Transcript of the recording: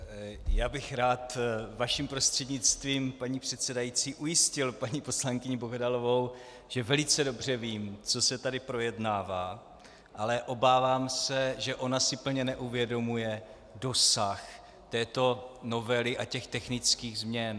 Já bych rád vaším prostřednictvím, paní předsedající, ujistil paní poslankyni Bohdalovou, že velice dobře vím, co se tady projednává, ale obávám se, že ona si plně neuvědomuje dosah této novely a těch technických změn.